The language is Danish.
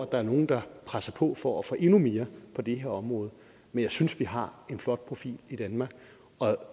der er nogle der presser på for at få endnu mere på det her område men jeg synes vi har en flot profil i danmark